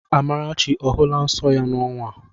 Amarachi ọ hụla nsọ ya n'ọnwa?